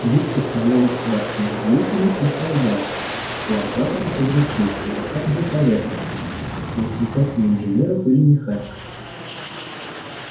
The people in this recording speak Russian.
юг поставлял государственных деятелей и солдат плантаторов и врачей адвокатов и поэтов но уж никак не инженеров или механиков